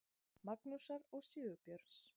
Magnúsar og Sigurbjörns.